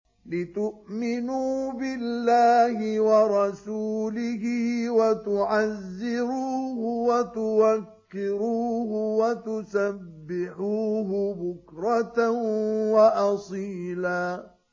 لِّتُؤْمِنُوا بِاللَّهِ وَرَسُولِهِ وَتُعَزِّرُوهُ وَتُوَقِّرُوهُ وَتُسَبِّحُوهُ بُكْرَةً وَأَصِيلًا